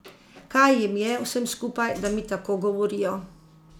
Kaj jim je, vsem skupaj, da mi tako govorijo?